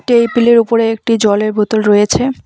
টেইবিলের উপরে একটি জলের বোতল রয়েছে।